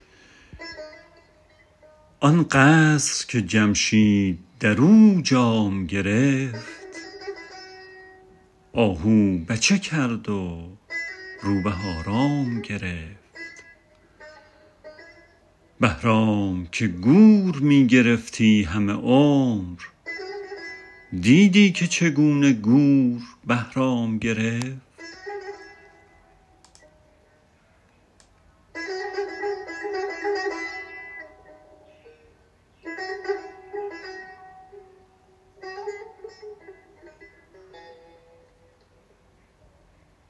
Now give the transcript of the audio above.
آن قصر که جمشید در او جام گرفت آهو بچه کرد و روبه آرام گرفت بهرام که گور می گرفتی همه عمر دیدی که چگونه گور بهرام گرفت